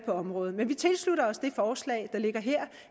området men vi tilslutter os det forslag der ligger her